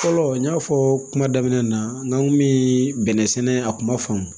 Fɔlɔ n y'a fɔ kuma daminɛ na n kun mi bɛnɛ sɛnɛ a kuma faamu